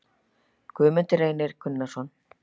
Guðmundur Reynir Gunnarsson